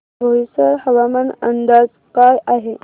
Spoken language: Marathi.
बोईसर हवामान अंदाज काय आहे